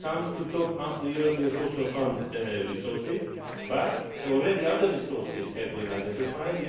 This comes to top up the European Social Fund resources, but already other resources have been identified.